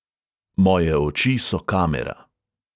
Moje oči so kamera.